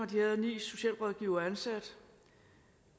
de havde ni socialrådgivere ansat